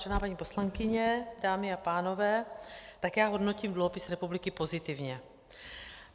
Vážená paní poslankyně, dámy a pánové, tak já hodnotím dluhopis republiky pozitivně.